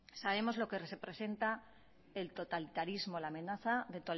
sabemos lo que representa la amenaza de